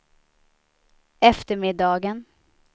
eftermiddagen